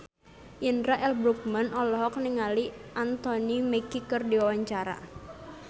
Indra L. Bruggman olohok ningali Anthony Mackie keur diwawancara